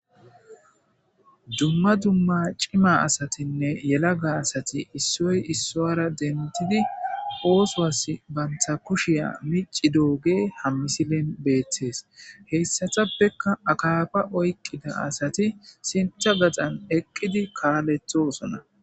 dumma dumma cima asatinne yelaga asati issoy issoara dentidi oosoas bantha kushiya mici dooge hammisilen beettees heyssatappekka akaafa oyqida asati sintha gaxan eqqidi kaaletho sona